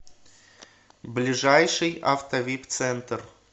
ближайший автовипцентр